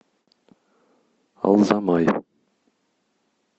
алзамай